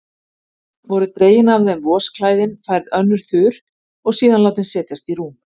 Voru dregin af þeim vosklæðin, færð önnur þurr og síðan látin setjast í rúm.